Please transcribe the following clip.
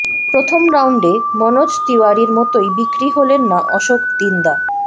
প্রথম রাউন্ডে মনোজ তিওয়ারির মতোই বিক্রি হলেন না অশোক দিন্দা